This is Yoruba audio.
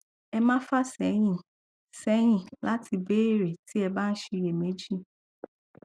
ẹ má fà sẹyìn sẹyìn láti béèrè tí ẹ bá ń ṣiyẹméjì